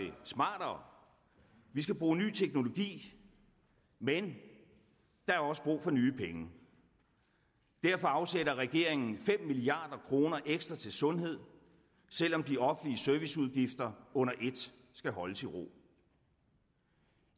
smartere vi skal bruge ny teknologi men der er også brug for nye penge derfor afsætter regeringen fem milliard kroner ekstra til sundhed selv om de offentlige serviceudgifter under et skal holdes i ro